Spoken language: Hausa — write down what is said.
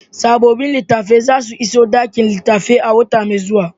Sabobin littafan za su iso ɗakin littafai a wata mai zuwa.